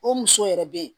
O muso yɛrɛ bɛ yen